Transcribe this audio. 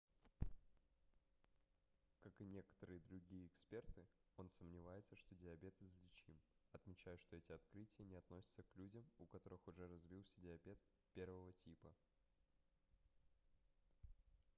как и некоторые другие эксперты он сомневается что диабет излечим отмечая что эти открытия не относятся к людям у которых уже развился диабет 1 типа